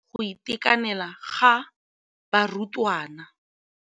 Ya nakwana le go tlamela go itekanela ga barutwana.